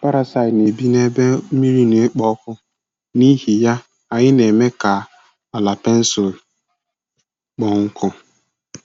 Parasaiti na-ebi n'ebe mmiri na-ekpo ọkụ, n'ihi ya, anyị na-eme ka ala pensụl kpọọ nkụ.